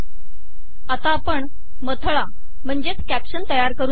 आता आपण मथळा तयार करून पाहू